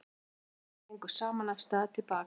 Drengirnir gengu saman af stað til baka.